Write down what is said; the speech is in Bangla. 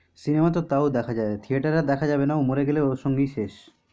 cinema তো তাও দেখা যাবে theater আর দেখা যাবে না মরে গেলে ওর সঙ্গেই শেষ।